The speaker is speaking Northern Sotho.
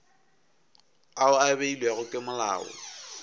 ao a beilwego ke molao